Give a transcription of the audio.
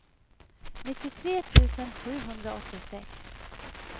nittiotre tusen sjuhundraåttiosex